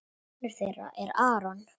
Sonur þeirra er Aron.